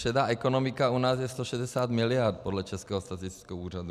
Šedá ekonomika u nás je 160 mld. podle Českého statistického úřadu.